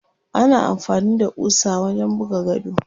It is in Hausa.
Ana amfani da ƙusa wajen buga gado.